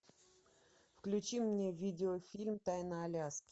включи мне видеофильм тайна аляски